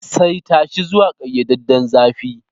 Saita shi zuwa ƙayyadadden zafi.